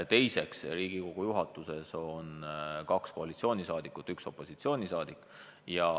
Teiseks, Riigikogu juhatuses on kaks koalitsioonisaadikut ja üks opositsioonisaadik.